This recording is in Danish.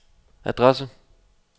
adresse